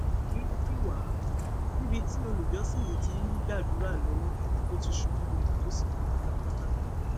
irú kí wàá níbi tí olùjọsìn yìí ti ń gbàdúrà lọwọ ló ti ṣubú lulẹ tó sì kú pátápátá